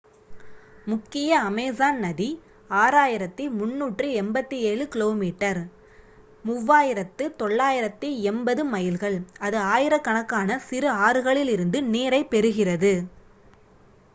முக்கிய அமேசான் நதி 6,387 கிமி 3,980 மைல்கள். அது ஆயிரக்கணக்கான சிறு ஆறுகளிலிருந்து நீரைப் பெறுகிறது